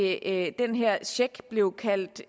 at den her check blev kaldt